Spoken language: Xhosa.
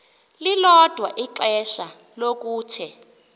lilodwa ixesha lokuthe